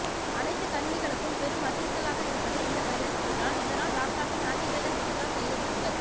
அனைத்து கணினிகளுக்கும் பெரும் அச்சுறுத்தலாக இருப்பது இந்த வைரஸ்கள் தான் இதனால் லாப்டாப்பில் ஆன்டிவைரஸ் இன்ஸ்டால் செய்து கொள்ளுங்கள்